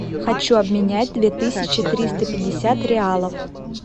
хочу обменять две тысячи триста пятьдесят реалов